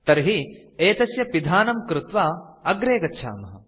तर्हि एतस्य पिधानं कृत्वा अग्रे गच्छामः